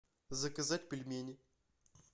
заказать пельмени